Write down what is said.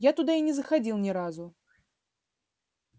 я туда и не заходил ни разу